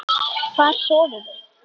Hvar sofiði?